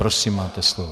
Prosím, máte slovo.